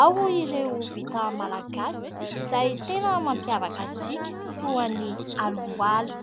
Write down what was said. Ao ireo vita malagasy izay tena mampiavaka antsika toa ny aloalo.